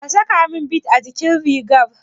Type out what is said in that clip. Ka sakamin bid a jikin rigar?